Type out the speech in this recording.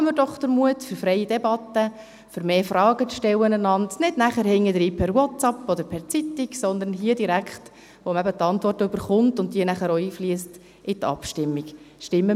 Haben wir doch den Mut zu freien Debatten, dazu, einander mehr Fragen zu stellen, um diese nicht im Nachgang per WhatsApp oder per Zeitung zu stellen, sondern direkt hier, wo man die Antworten erhält und diese auch in die Abstimmung einfliessen.